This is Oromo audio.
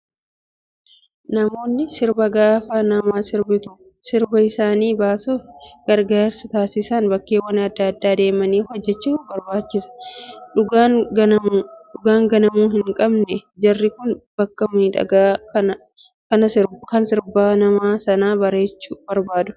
Namoonni sirban gaafa nama sirbituu sirba isaaniif baasuuf gargaarsa taasisan bakkeewwan adda addaa deemanii hojjachuu barbaachisa. Dhugaan ganamuu hin qabne jarri kun bakka miidhagaa kan sirba nama sanaa bareechu barbaadu.